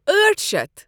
أٹھ شیتھ